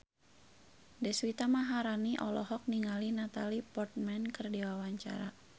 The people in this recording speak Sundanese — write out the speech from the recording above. Deswita Maharani olohok ningali Natalie Portman keur diwawancara